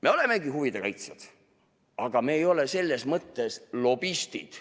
Me olemegi huvide kaitsjad, aga me ei ole selles mõttes lobistid.